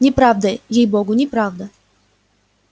неправда ей-богу неправда